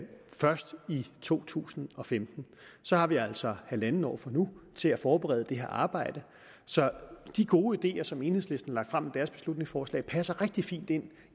to tusind og femten så har vi altså halvandet år fra nu til at forberede det her arbejde så de gode ideer som enhedslisten har lagt frem i deres beslutningsforslag passer rigtig fint ind